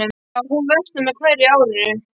Jú, hún versnar með hverju árinu.